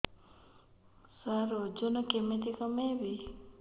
ସାର ଓଜନ କେମିତି କମେଇବି